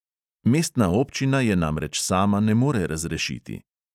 Mestna občina je namreč sama ne more razrešiti.